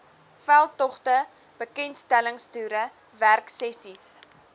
veldtogte bekendstellingstoere werksessies